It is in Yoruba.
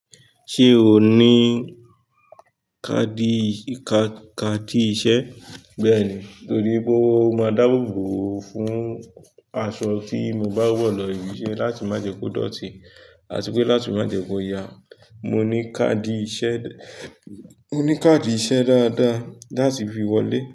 Ṣé o ní káàdì ì-- káàdì iṣẹ́? Bẹ́ẹ̀ni, torí pé mo máa dáàbò bò o fún aṣọ tí mo bá wọ̀ lọ ibi iṣẹ́ láti má jẹ ko dọ̀tí àti pé láti má jẹ́ kó ya. Mo ní káàdì iṣẹ́, mo ní káàdì iṣẹ́ dáadáa láti fi wọlé.